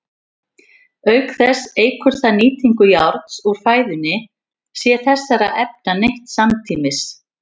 Auk þess eykur það nýtingu járns úr fæðunni sé þessara efna neytt samtímis.